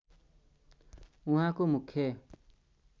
उहाँको मुख्य